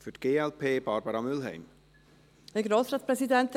Das Wort hat Barbara Mühlheim für die Fraktion glp.